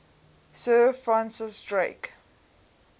sir francis drake